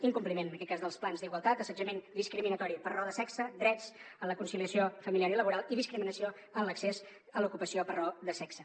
incompliment en aquest cas dels plans d’igualtat assetjament discriminatori per raó de sexe drets en la conciliació familiar i laboral i discriminació en l’accés a l’ocupació per raó de sexe